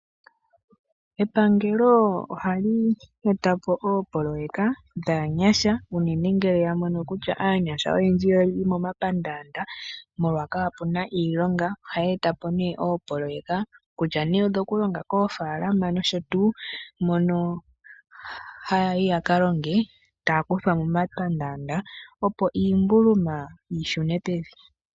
Epangelo ohali etapo opolololeka dhaanyasha unene ngele yamono kutya aanyasha oyendji oyeli momapandanda molwa kapuna iilonga .Ohaya eta po opololeka kutya nee odho kulonga kofaalama nosho tuu mono hayayi yakalonge takuthwa momapandanda mono hayayi yaka longe opo iimbuluma yishune pevi.